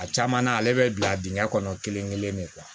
A caman na ale bɛ bila dingɛ kɔnɔ kelen kelen de